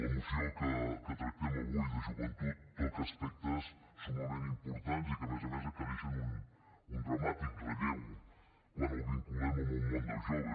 la moció que tractem avui de joventut toca aspectes summament importants i que a més a més adquireixen un dramàtic relleu quan els vinculem al món dels joves